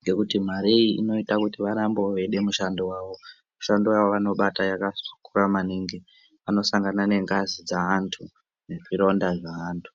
ngekuti mare iyi inoite kuti varambewo veide mishando yavo. Mishando yavanobata yakakura maningi. Vanosangane nengazi dzaantu nezvironda zvevantu.